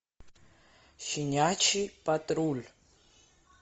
щенячий патруль